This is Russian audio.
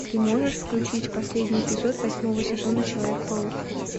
ты можешь включить последний эпизод восьмого сезона человек паук